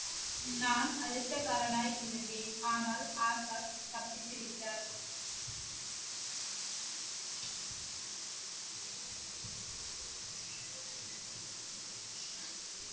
நான் அதிர்ஷ்டக்காரனாய் இருந்தேன் ஆனால் ஆசாத் தப்பித்து விட்டார்.